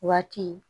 Waati